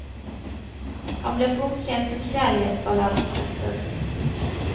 Han ble fort kjent som kjærlighetsballadenes mester.